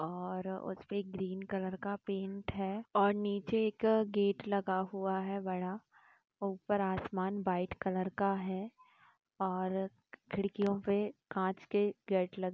और उसपे एक ग्रीन कलर का पेंट है और नीचे एक गेट लगा हुआ है बड़ा ऊपर आसमान व्हाइट कलर का है और खिड़कियों पे काँच के गेट लगे--